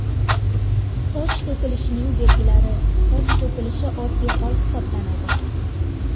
Soch to‘kilishining belgilari Soch to‘kilishi oddiy hol hisoblanadi.